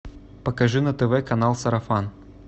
покажи на тв канал сарафан